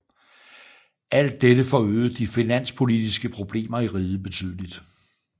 Alt dette forøgede de finanspolitiske problemer i riget betydeligt